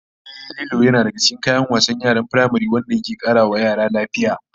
Ehh, Lilo yana daga cikin kayan wasan yaran firamare wanda ke kara wa yara lafiya